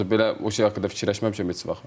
Yoxsa belə o şey haqqında fikirləşməmişəm heç vaxt.